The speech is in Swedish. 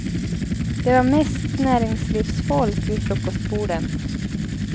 Det var mest näringslivsfolk vid frukostborden.